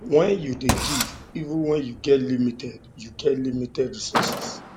when you dey give even when you get limited you get limited resources